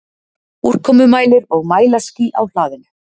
Úrkomumælir og mælaskýli á hlaðinu.